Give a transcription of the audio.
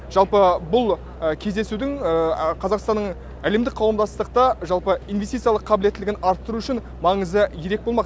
жалпы бұл кездесудің қазақстанның әлемдік қауымдастықта жалпы инвестициялық қабылеттілігін арттыру үшін маңызы ерек болмақ